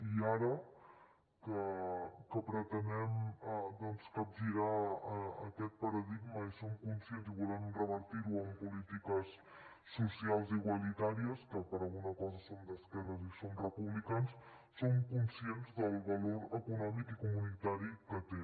i ara que pretenem doncs capgirar aquest paradigma i som conscients i volem revertir ho amb polítiques socials i igualitàries que per alguna cosa som d’esquerres i som republicans som conscients del valor econòmic i comunitari que té